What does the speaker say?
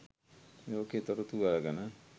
ලෝකයේ තොරතුරු අරගෙන